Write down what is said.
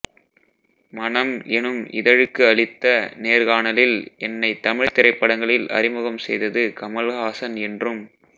மனம் எனும் இதழழுக்கு அளித்த நேர்காணலில் என்னைத் தமிழ்த் திரைப்படங்களில் அறிமுகம் செய்தது கமல்ஹாசன் என்றும்